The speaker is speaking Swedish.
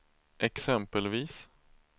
exempelvis